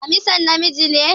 Damisan namiji ne